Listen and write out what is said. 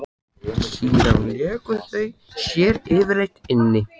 Síðan léku þau sér yfirleitt inni.